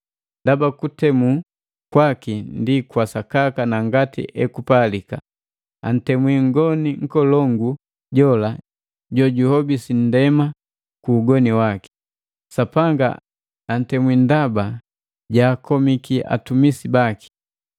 Ndaba kutemu kwaki ndi kwa sakaka na ngati ekupalika. Antemwi mgoni nkolongu jola jojuhobisi nndema ku ugoni waki. Sapanga antemwi ndaba jaakomiki atumisi baki.”